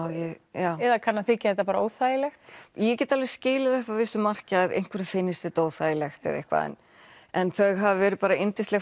eða kann að þykja þetta bara óþægilegt ég get alveg skilið upp að vissu marki að einhverjum finnist þetta óþægilegt eða eitthvað en þau hafa verið bara yndisleg